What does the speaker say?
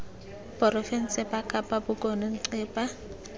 porofense ba kapa bokone ncpa